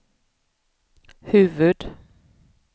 huvud-